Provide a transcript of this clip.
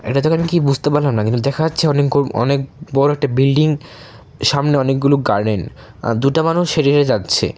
এটা দোকান কি বুঝতে পারলাম না কিন্তু দেখা যাচ্ছে অনেক গু-অনেক বড় একটি বিল্ডিং সামনে অনেক গুলো গার্ডেন দুইটা মানুষ হেঁটে হেঁটে যাচ্ছে।